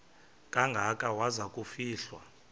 kangaka waza kufihlwa